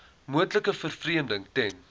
moontlike vervreemding ten